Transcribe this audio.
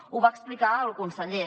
ho va explicar el conseller